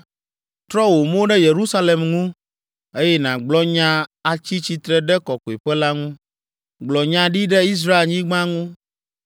“Trɔ wò mo ɖe Yerusalem ŋu, eye nàgblɔ nya atsi tsitre ɖe kɔkɔeƒe la ŋu. Gblɔ nya ɖi ɖe Israelnyigba ŋu,